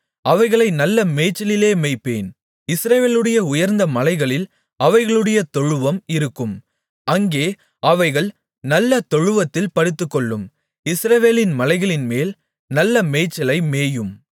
அவைகளை நல்ல மேய்ச்சலிலே மேய்ப்பேன் இஸ்ரவேலுடைய உயர்ந்த மலைகளில் அவைகளுடைய தொழுவம் இருக்கும் அங்கே அவைகள் நல்ல தொழுவத்தில் படுத்துக்கொள்ளும் இஸ்ரவேலின் மலைகளின்மேல் நல்ல மேய்ச்சலை மேயும்